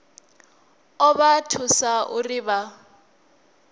ḓo vha thusa uri vha